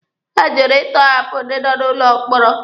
Ha jụrụ ịtọhapụ ndị nọ n'ụlọ mkpọrọ.